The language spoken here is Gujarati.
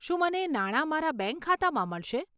શું મને નાણા મારા બેંક ખાતામાં મળશે?